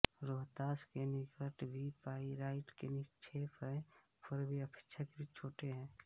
रोहतास के निकट भी पाइराइट के निक्षेप हैं पर वे अपेक्षाकृत छोटे हैं